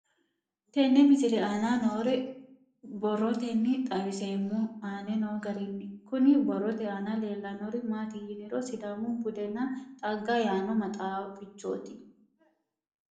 Tenne misile aana noore borroteni xawiseemohu aane noo gariniiti. Kunni borrote aana leelanori maati yiniro sidaamu budenna xagge yaano maxaaafichooti.